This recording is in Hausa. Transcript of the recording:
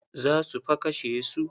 Za su fa kashe su.